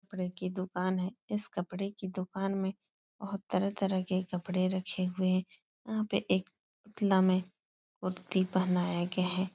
कपड़े की दुकान है। इस कपडे की दुकान में बोहोत तरह-तरह के कपडे़ रखे हुए यहां पे एक पुतला में कुर्ती पहनाया गया है।